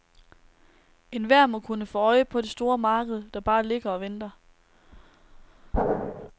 Enhver må kunne få øje på det store marked, der bare ligger og venter.